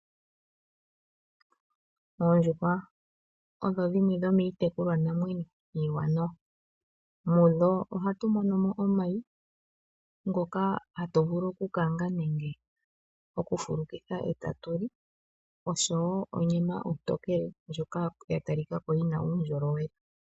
Oondjuhwa odho dhimwe dhomiitekulwananwenyo iiwanawa. Mudho ohatu mono mo omayi ngoka hatu vulu okukanga nenge tatu fulukitha etatu li oshowo onyama ontokele ndjoka ya talika ko yina uundjolowele.